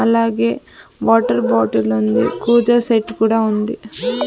అలాగే water bottle ఉంది కుజ సెట్ కూడా ఉంది.